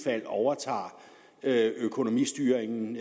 fald overtager økonomistyringen